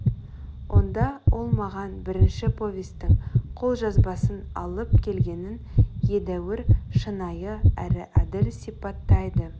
онда ол маған бірінші повестің қолжазбасын алып келгенін едәуір шынайы әрі әділ сипаттайды